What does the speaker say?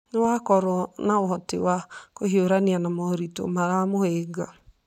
nĩ wakorwo na ũhoti wa kũhiũrania na moritũ maramũhĩnga.